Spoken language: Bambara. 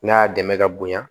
N'a y'a dɛmɛ ka bonya